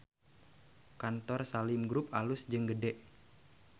Kantor Salim Group alus jeung gede